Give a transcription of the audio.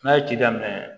N'a ye ci daminɛ